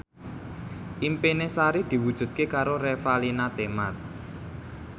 impine Sari diwujudke karo Revalina Temat